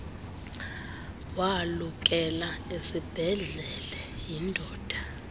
walukela esiibhedlele yindoda